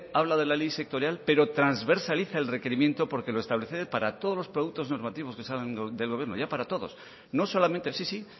habla de la ley sectorial pero transversaliza el requerimiento porque lo establece para todos los productos normativos que salgan del gobierno ya para todos no solamente sí sí